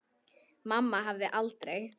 Mamma hefði aldrei.